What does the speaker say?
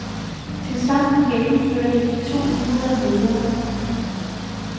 Tilsammen gennemførte de to hundrede møder.